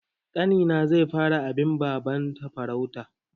Ƙanina zai fara bin babana farauta.